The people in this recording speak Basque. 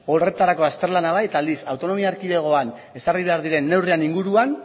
horretarako azterlana bai eta aldiz autonomia erkidegoan ezarri behar diren neurriak inguruan